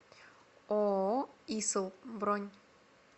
ооо исл бронь